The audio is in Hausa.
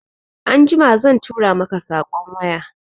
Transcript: Anjima zan tura maka saƙon waya